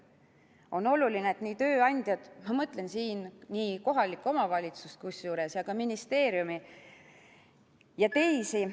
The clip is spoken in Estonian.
On oluline, et tööandjad, kusjuures ma mõtlen siin kohalikku omavalitsust, aga ka ministeeriumi ja teisi ...